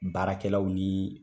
Baarakɛlaw nii